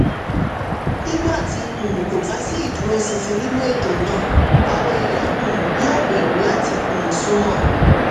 nígbà tí um kò bá sí ìdúróṣinṣin nínú ètò náà àwọn èèyàn um yóò bẹ̀rù láti um sún mọ́